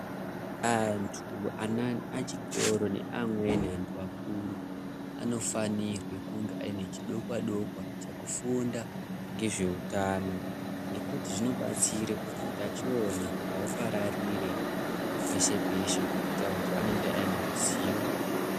Antu ana echikora neamweni antu akuru anofanirwe kunge ane chidokwa-dokwa chekufunda ngezvehutano. Ngokuti zvinobatsire kuti utachiona hupararire peshe-peshe ngekuti antu anenge ane ruzivo.